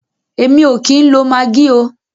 Èmi o kìí ń lo maggi oo.